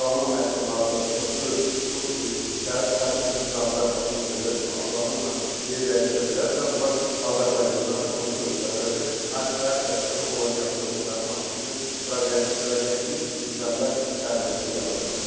Parçalanma məhsullarının da çoxusu bu təsirsiz qazlar atmosferdə çox asanlıqla yerdəyişə bilər və onlar Azərbaycana da, qonşu ölkələrə də, hər tərəfdə olan yaxın ölkələrin hamısı üçün radioaktiv çirklənmə təhlükəsi yarada bilər.